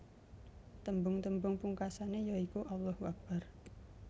Tembung tembung pungkasané ya iku Allahu Akbar